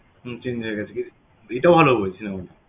হম change এটাও ভালো বলছিলাম আমি